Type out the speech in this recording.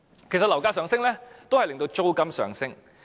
其實樓價上升，亦會令租金上升。